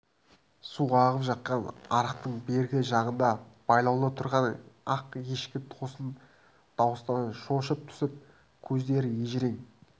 су ағып жатқан арықтың бергі жағында байлаулы тұрған ақ ешкі тосын дауыстан шошып түсіп көздері ежірең